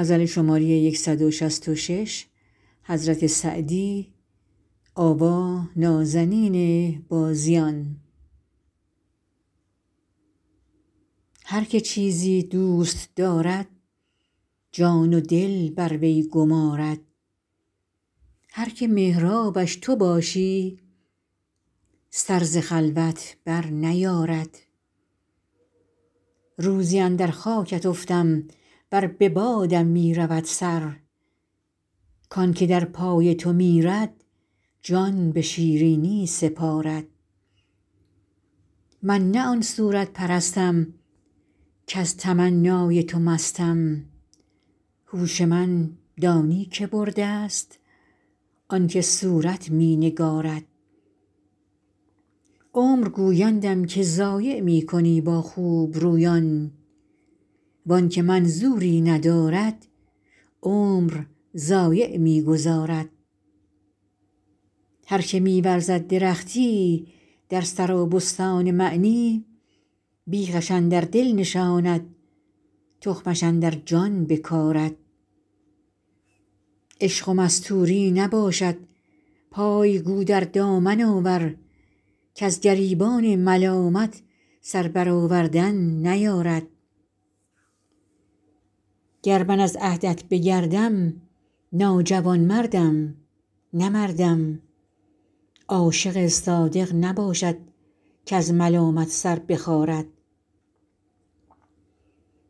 هر که چیزی دوست دارد جان و دل بر وی گمارد هر که محرابش تو باشی سر ز خلوت برنیارد روزی اندر خاکت افتم ور به بادم می رود سر کان که در پای تو میرد جان به شیرینی سپارد من نه آن صورت پرستم کز تمنای تو مستم هوش من دانی که برده ست آن که صورت می نگارد عمر گویندم که ضایع می کنی با خوبرویان وان که منظوری ندارد عمر ضایع می گذارد هر که می ورزد درختی در سرابستان معنی بیخش اندر دل نشاند تخمش اندر جان بکارد عشق و مستوری نباشد پای گو در دامن آور کز گریبان ملامت سر برآوردن نیارد گر من از عهدت بگردم ناجوانمردم نه مردم عاشق صادق نباشد کز ملامت سر بخارد